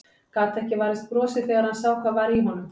Gat ekki varist brosi þegar hann sá hvað var í honum.